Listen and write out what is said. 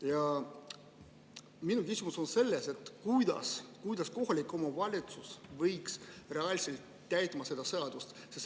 Ja minu küsimus on selle kohta, kuidas kohalik omavalitsus võiks reaalselt täita seda seadust.